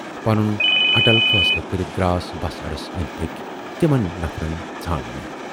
"پنُن اٹل فٲصلہٕ کٔرِتھ دراس بَس اڈس ٲندۍ پٔکۍ تِمن نفرن ژھارنہِ۔